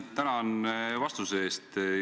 Tänan vastuse eest!